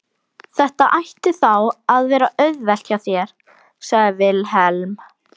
Þetta ætti þá að vera auðvelt hjá þér, sagði Vilhelm.